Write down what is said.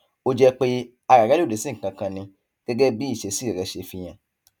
ó jẹ pé ara rẹ lòdì sí nǹkan kan ni gẹgẹ bí ìṣesí rẹ ṣe fihàn